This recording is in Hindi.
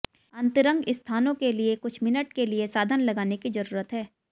अंतरंग स्थानों के लिए कुछ मिनट के लिए साधन लगाने की जरूरत है